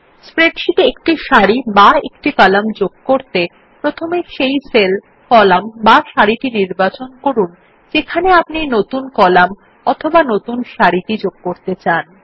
স্প্রেডশীটে একটি সারি বা একটি কলাম যোগ করতে প্রথমে সেই সেল কলাম বা সারি নির্বাচন করুন যেখানে আপনি নতুন কলাম অথবা একটি নতুন সারি যুক্ত করতে চান